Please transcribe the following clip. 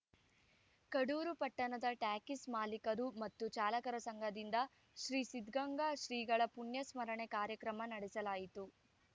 ಕಡೂರು ಪಟ್ಟಣದ ಟ್ಯಾಕ್ಸಿ ಮಾಲೀಕರು ಮತ್ತು ಚಾಲಕರ ಸಂಘದಿಂದ ಶ್ರೀ ಸಿದ್ಧಗಂಗಾ ಶ್ರೀಗಳ ಪುಣ್ಯಸ್ಮರಣೆ ಕಾರ್ಯಕ್ರಮ ನಡೆಸಲಾಯಿತು